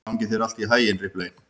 Gangi þér allt í haginn, Ripley.